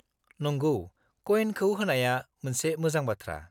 -नंगौ, कयेनखौ होनाया मोनसे मोजां बाथ्रा।